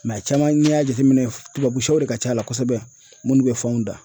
Mɛ caman n'i y'a jateminɛ tubabu sɛw de ka c'a la kosɛbɛ minnu bɛ fanw da